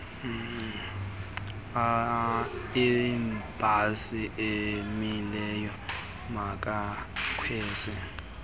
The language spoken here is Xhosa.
ibhasi emileyo makakwenze